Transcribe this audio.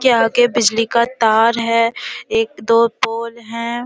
के आगे बिजली का तार है एक दो पोल हैं।